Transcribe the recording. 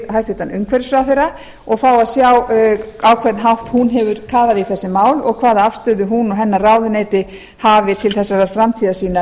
hæstvirtur umhverfisráðherra og fá að sjá á hvern hátt hún hefur talað um þessi mál og hvaða afstöðu hún og hennar ráðuneyti hafi til þessarar framtíðarsýnar